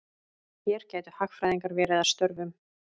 Hér gætu hagfræðingar verið að störfum.